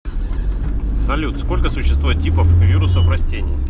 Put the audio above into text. салют сколько существует типов вирусов растений